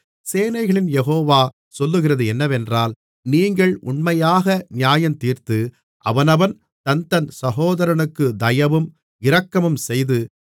சேனைகளின் யெகோவா சொல்லுகிறது என்னவென்றால் நீங்கள் உண்மையாக நியாயந்தீர்த்து அவனவன் தன்தன் சகோதரனுக்குத் தயவும் இரக்கமும் செய்து